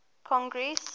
congress